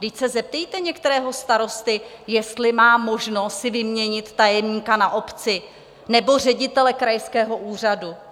Vždyť se zeptejte některého starosty, jestli má možnost si vyměnit tajemníka na obci nebo ředitele krajského úřadu.